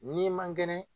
N'i man kɛnɛ